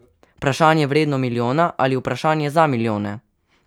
Vprašanje, vredno milijona, ali vprašanje za milijone?